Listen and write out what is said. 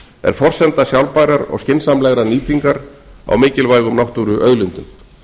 er forsenda sjálfbærrar og skynsamlegrar nýtingar á mikilvægum náttúruauðlindum